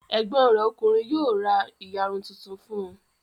Ẹ̀gbọ́n rẹ̀ ọkùnrin yóò ra ìyarun tuntun fún un.